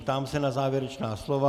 Ptám se na závěrečná slova.